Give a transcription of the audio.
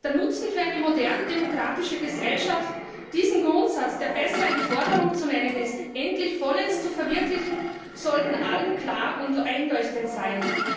Der Nutzen für eine moderne demokratische Gesellschaft, wenn sie diesen Grundsatz der besser eine Forderung zu nennen ist endlich vollends verwirklicht, sollte für alle klar und einleuchtend sein.